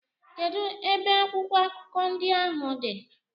Kedụ ebe akwụkwọ akụkọ ndị ahụ dị?